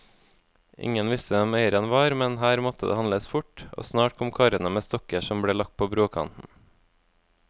Ingen visste hvem eieren var, men her måtte det handles fort, og snart kom karene med stokker som ble lagt på brokanten.